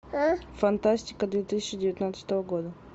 фантастика две тысячи девятнадцатого года